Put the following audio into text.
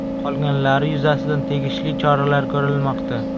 Qolganlari yuzasidan tegishli choralar ko‘rilmoqda.